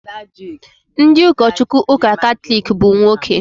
Ndị ụkọchukwu ụka Katọlik bụ nwoke